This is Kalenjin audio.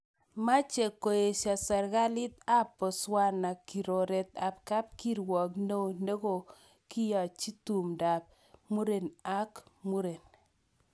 Meche koesio serkaliit ap botswana kiroret ap kapkirwook neoo, nekogoianchii tumdo ap mureen ak mureen